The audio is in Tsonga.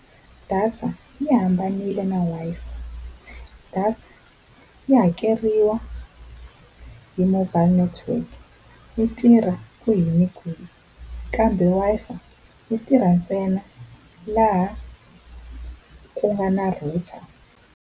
Data yi hambanile na Wi-Fi. Data yi hakeriwa hi mobile network, yi tirha kwhi na kwihi kambe Wi-Fi yi tirha ntsena laha ku nga na router.